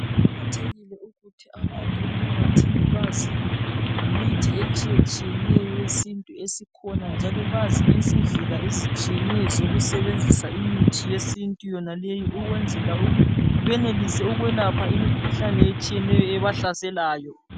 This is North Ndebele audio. Kuqakathekile ukuthi abantu emphakathini bazi ngemithi etshiyetshiyeneyo yesintu esikhona njalo bazi lezindlela ezitshiyeneyo zokusebenzisa imithi yesintu yonaleyi ukwenzela ukuthi benelise ukwelapha imikhuhlane etshiyeneyo ebahlaselayo.